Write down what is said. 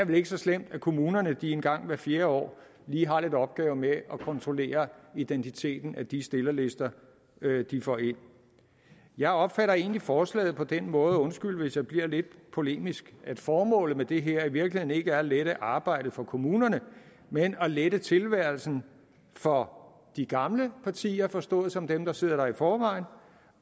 vel ikke så slemt at kommunerne en gang hvert fjerde år lige har nogle opgaver med at kontrollere identiteten på de stillerlister de får ind jeg opfatter egentlig forslaget på den måde undskyld hvis jeg bliver lidt polemisk at formålet med det her i virkeligheden ikke er at lette arbejdet for kommunerne men at lette tilværelsen for de gamle partier forstået som dem der sidder der i forvejen